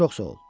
Çox sağ ol.